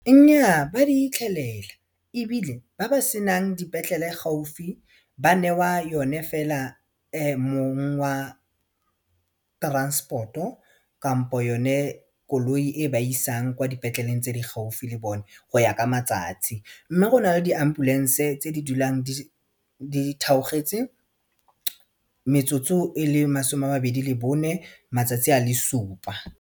Nnyaa ba di itlhelela ebile ba ba senang dipetlele gaufi ba newa yone fela mong wa transport-o kampo yone koloi e ba isang kwa dipetleleng tse di gaufi le bone go ya ka matsatsi mme go na le di-ambulance-e tse di dulang di theogetse metsotso e le masome a mabedi le bone matsatsi a le supa.